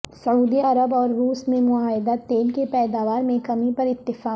سعودی عرب اور روس میں معاہدہ تیل کی پیداوار میں کمی پر اتفاق